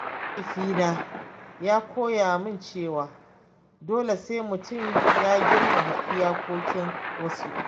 Mahaifina ya koya min cewa dole sai mutum ya girmama iyakokin wasu.